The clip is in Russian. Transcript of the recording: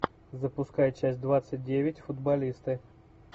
запускай часть двадцать девять футболисты